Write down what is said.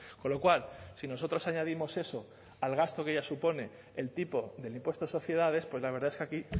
con lo cual si nosotros añadimos eso al gasto que ya supone el tipo del impuesto de sociedades pues la verdad es que aquí